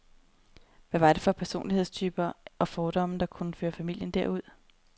Hvad var det for personlighedstyper og fordomme, der kunne føre familien derud?